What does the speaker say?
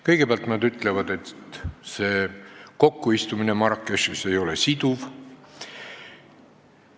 Kõigepealt, nad ütlevad, et see Marrakechis kokkuistumine ei ole siduv.